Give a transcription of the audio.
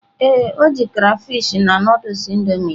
Ee, o ji crayfish na Nụdụls Indomie ya.